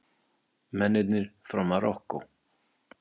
Mennina frá Marokkó!